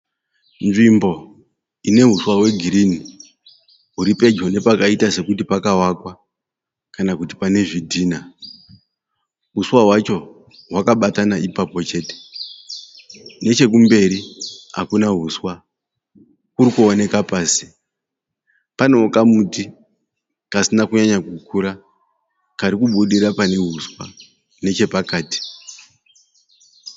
Nzvimbo ine huswa hwegirini uri pedyo nepakaita sekuti pakavakwa kana kuti pane zvidhina uswa hwacho hwakabatana ipapo chete nechekumberi hakuna huswa uri kuoneka pasi panewo kamuti kasina kunyanya kukura kari kubudira pane huswa nechepakati.